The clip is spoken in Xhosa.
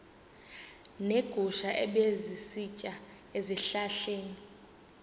neegusha ebezisitya ezihlahleni